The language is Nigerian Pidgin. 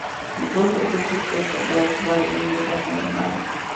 di prophet also tok about why im neva um marry